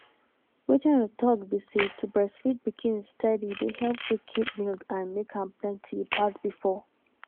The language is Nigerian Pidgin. wetin i dey talk be say to breastfeed pikin steady dey help to keep milk and make am plenty pass before.